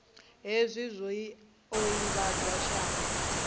hezwi zwi o ivhadzwa shango